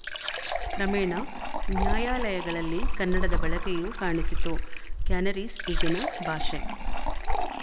ಕ್ರಮೇಣ ನ್ಯಾಯಾಲಯಗಳಲ್ಲಿ ಕನ್ನಡದ ಬಳಕೆಯೂ ಕಾಣಿಸಿತು ಕ್ಯಾನರೀಸ್ ಈಗಿನ ಭಾಷೆ